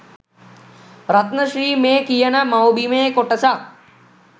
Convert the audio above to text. රත්න ශ්‍රී මේ කියන මව්බිමේ කොටසක්